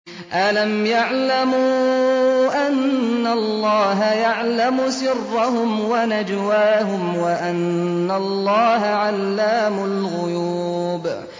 أَلَمْ يَعْلَمُوا أَنَّ اللَّهَ يَعْلَمُ سِرَّهُمْ وَنَجْوَاهُمْ وَأَنَّ اللَّهَ عَلَّامُ الْغُيُوبِ